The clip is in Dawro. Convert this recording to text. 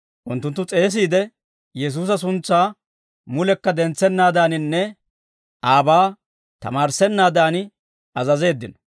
Unttunttu s'eesiide, Yesuusa suntsaa mulekka dentsenaadaaninne aabaa tamaarissennaadan azazeeddino.